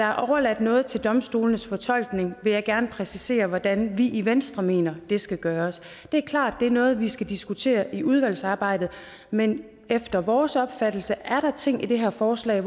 er overladt noget til domstolenes fortolkning vil jeg gerne præcisere hvordan vi i venstre mener det skal gøres det er klart at det er noget vi skal diskutere i udvalgsarbejdet men efter vores opfattelse er der ting i det her forslag